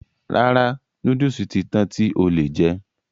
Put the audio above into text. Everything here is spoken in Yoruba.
Rárá, núdùsù ti tán tí o lè jẹ.